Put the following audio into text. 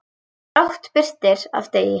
Brátt birtir af degi.